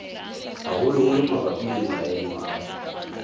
haholoholo mabapi le maemo a